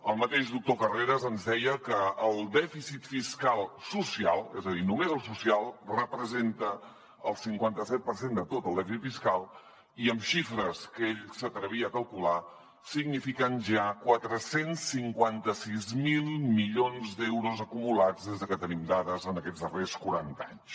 el mateix doctor carreras ens deia que el dèficit fiscal social és a dir només el social representa el cinquanta set per cent de tot el dèficit fiscal i amb xifres que ell s’atrevia a calcular signifiquen ja quatre cents i cinquanta sis mil milions d’euros acumulats des de que tenim dades en aquests darrers quaranta anys